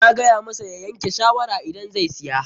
Na gaya masa ya yanke shawara idan zai siya.